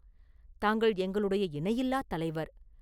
தாங்கள் எங்களுடைய இணையில்லாத் தலைவர்.